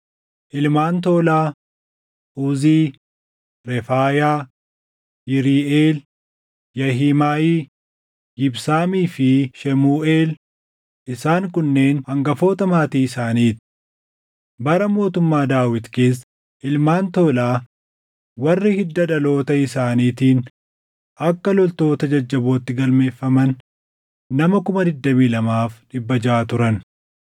Ilmaan Toolaa: Uzii, Refaayaa, Yiriiʼeel, Yaahimaayi, Yibsaamii fi Shemuuʼeel; isaan kunneen hangafoota maatii isaanii ti. Bara mootummaa Daawit keessa ilmaan Toolaa warri hidda dhaloota isaaniitiin akka loltoota jajjabootti galmeeffaman nama 22,600 turan.